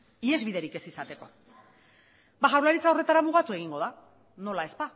ihesbiderik ez izateko ba jaurlaritza horretara mugatu egingo da nola ez